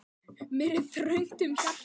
Mér er þröngt um hjarta.